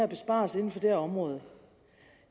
besparelser inden for det her område